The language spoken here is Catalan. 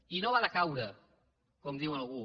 i no va decaure com diu algú